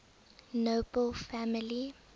nobel family